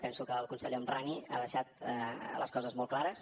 penso que el conseller el homrani ha deixat les coses molt clares